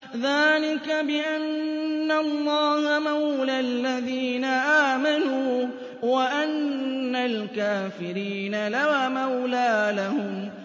ذَٰلِكَ بِأَنَّ اللَّهَ مَوْلَى الَّذِينَ آمَنُوا وَأَنَّ الْكَافِرِينَ لَا مَوْلَىٰ لَهُمْ